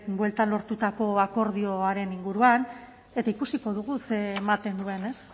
bueltan lortutako akordioaren inguruan eta ikusiko dugu ze ematen duen ez